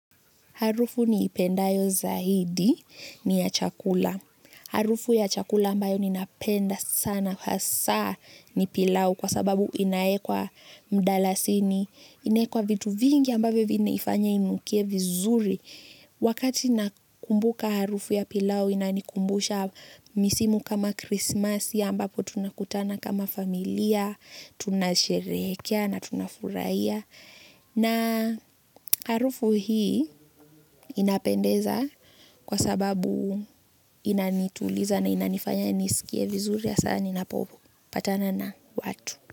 Harufu niipendayo zaidi ni ya chakula harufu ya chakula ambayo ninapenda sana hasa ni pilau kwa sababu inawekwa mdalasini, inawekwa vitu vingi ambavyo vinaifanya inukie vizuri. Wakati nakumbuka harufu ya pilau inanikumbusha misimu kama Krismasi ambapo tunakutana kama familia, tunasherehekea na tunafurahia. Na harufu hii inapendeza kwa sababu inanituliza na inanifanya niskie vizuri hasa ninapopatana na watu.